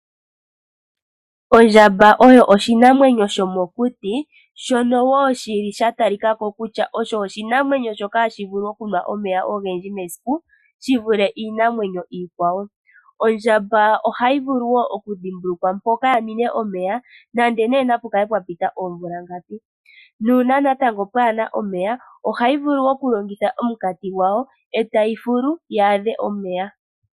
Ondjamba oyo oshinamwenyo shomokuti, shono wo sha talika ko kutya osho oshinamwenyo shono hashi vulu okunwa omeya ogendji mesiku shi vule iinamwenyo iikwawo. Ondjamba ohayi vulu wo okudhimbulukwa mpono ya ninwe omeya nenge ngaa napu kale pwa pita oomvula ngapi. Uuna kaapu na omeya, ohayi vulu okulongitha omunkati gwawo e tayi fulu yi adhe omeya.